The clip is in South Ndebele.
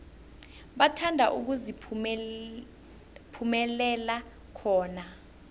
bathanda ukuziphumulela khona